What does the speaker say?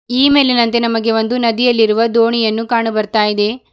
ಈ ಮೇಲಿನಂತೆ ನಮಗೆ ಒಂದು ನದಿಯಲ್ಲಿರುವ ದೋಣಿಯನ್ನು ಕಾಣು ಬರ್ತಯಿದೆ.